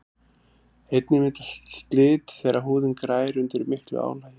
einnig myndast slit þegar húðin grær undir miklu álagi